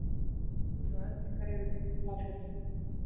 Þrumur og eldingar yfir Bláfjöllum